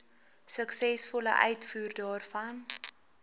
suksesvolle uitvoer daarvan